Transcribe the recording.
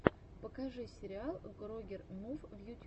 покажи сериал грогер мув в ютьюбе